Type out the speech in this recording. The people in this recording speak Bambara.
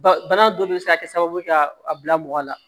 Ba bana dɔ de bɛ se ka kɛ sababu ye ka a bila mɔgɔ la